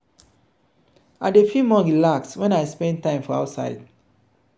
i dey feel more relaxed wen i spend time for outside.